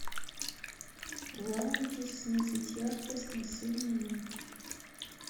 в лаунже снизить яркость на семь минут